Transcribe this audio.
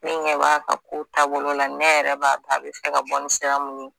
Ne ɲɛ b'a ka kow taabolo la ne yɛrɛ b'a dɔn a bɛ se ka bɔ sira min ye